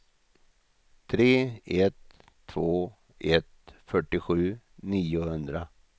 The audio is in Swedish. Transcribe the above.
tre ett två ett fyrtiosju niohundra